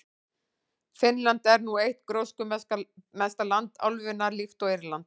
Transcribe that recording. Finnland er nú eitt gróskumesta land álfunnar, líkt og Írland.